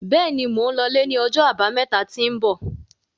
Béèni, Mò ń lọ lẹ́ ní ọjọ́ àbámẹ́ta tí ń bọ̀